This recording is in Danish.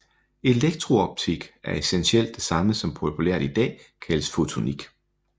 Elektrooptik er essentielt det samme som populært i dag kaldes fotonik